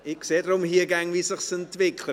Ich sehe hier immer, wie es sich entwickelt.